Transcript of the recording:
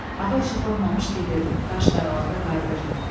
Hava işıqlanmamış gedirdim, qaş qaralanda qayıdırdım.